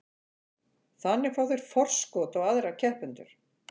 Þannig fá þeir forskot á aðra keppendur.